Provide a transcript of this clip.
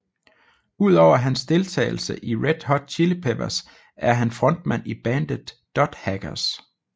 Udover hans deltagelse i Red Hot Chili Peppers er han frontmand i bandet Dot Hacker